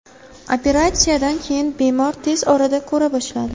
Operatsiyadan keyin bemor tez orada ko‘ra boshladi.